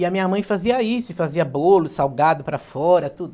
E a minha mãe fazia isso, fazia bolo, salgado para fora, tudo.